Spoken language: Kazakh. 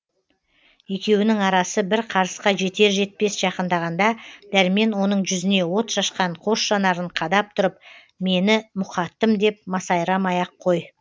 екеуінің арасы бір қарысқа жетер жетпес жақындағанда дәрмен оның жүзіне от шашқан қос жанарын қадап тұрып мені мұқаттым деп масайрамай ақ қой